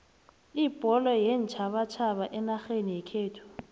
ibholo yeentjhabatjhaba enarheni yekhethu